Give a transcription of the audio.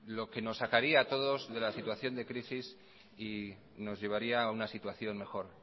lo que nos sacaría a todos de la situación de crisis y nos llevaría a una situación mejor